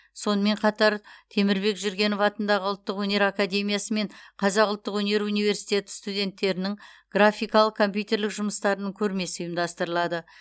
сонымен қатар темірбек жүргенов атындағы ұлттық өнер академиясы мен қазақ ұлттық өнер университеті студенттерінің графикалық компьютерлік жұмыстарының көрмесі ұйымдастырылады